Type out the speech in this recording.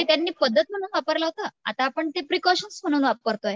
ते त्यांनी पद्धत म्हणून वापरलं होतं आता आपण ते प्रिकॉशन्स म्हणून वापरतो.